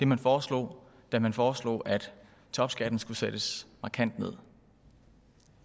man foreslog da man foreslog at topskatten skulle sættes markant ned